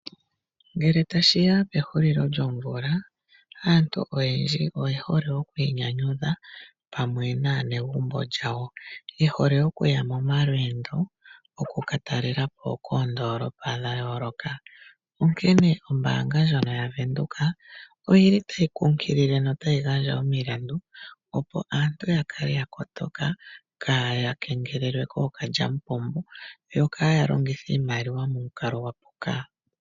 Ngele tashi ya pehulilo lyomvula aantu oyendji oye hole okwi inyanyudha pamwe naanegumbo lyawo, ye hole okuya momalweendo taakatalelapo oondolopa dhayooloka, onkene ombanga yaVenduka otayi kunkilile noku gandja omilandu opo aantu ya kale ya kotoka ka ya kengelelwe kookalyamupombo yokayalongithe iimaliwa momukalo gwa puka.